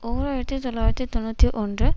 ஓர் ஆயிரத்தி தொள்ளாயிரத்து தொன்னூற்றி ஒன்று